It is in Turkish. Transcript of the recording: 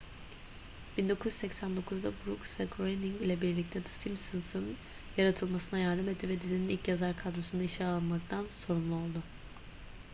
1989'da brooks ve groening ile birlikte the simpsons'ın yaratılmasına yardım etti ve dizinin ilk yazar kadrosunu işe almaktan sorumlu oldu